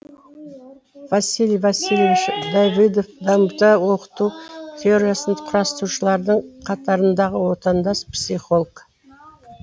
василий васильевич давыдов дамыта оқыту теориясын құрастырушылардың қатарындағы отандас психолог